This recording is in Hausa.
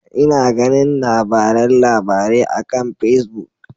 Ina ganin labaran labarai akan Pacebook.